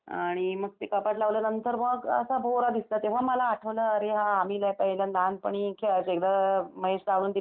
ते कपाट लावल्यानंतर मग असा भोवरा दिसला तेव्हा मला आठवलं अरे हा आम्ही पहिल लहानपणी खेळायचो. एकदा महेशला आणून दिला होता भोवरा.